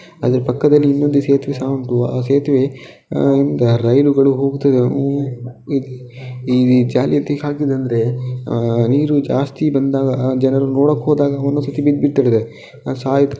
ಅದರ ಪಕ್ಕದಲ್ಲಿ ಇನ್ನೊಂದು ಸೇತುವೆ ಸಹ ಉಂಟು. ಆ ಸೇತುವೆಯಿಂದ ರೈಲುಗಳು ಹೋಗುತ್ತವೆ. ಅವು ಈ ಜಾಲರಿ ಯಾತಕ್ಕೆ ಹಾಕಿದ್ದಾರೆ ಅಂದ್ರೆ ನೀರು ಜಾಸ್ತಿ ಬಂದಾಗ ಜನರು ನೋಡಕ್ಕೆ ಹೋದಾಗ ಒಂದೊಂದು ಸರಿ ಬಿದ್ಬಿಟ್ಟಿದ್ದಾರೆ.